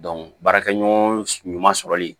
baarakɛ ɲɔgɔn ɲuman sɔrɔli